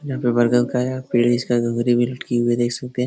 यहाँ पर बरगद का यह पेड़ है इसका लटकी हुए देख सकते हैं।